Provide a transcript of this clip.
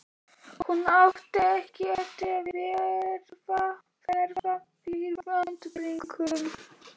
Hún átti ekki eftir að verða fyrir vonbrigðum.